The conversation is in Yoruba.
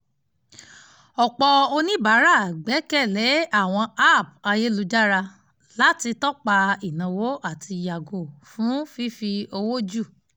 ọ̀pọ̀ oníbàárà gbẹ́kẹ̀ lé àwọn app ayélujára láti tọ́pa ináwó àti yàgò fún fífi owó jù